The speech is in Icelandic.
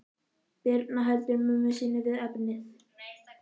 Birna heldur mömmu sinni við efnið.